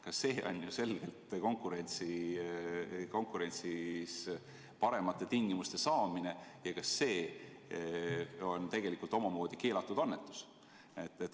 Ka see on ju selgelt konkurentsis paremate tingimuste saamine ja tegelikult omamoodi keelatud annetus.